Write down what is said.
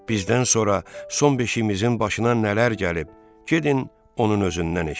Bizdən sonra son beşiyimizin başına nələr gəlib, gedin onun özündən eşidin.